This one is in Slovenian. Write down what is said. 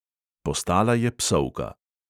Postala je psovka.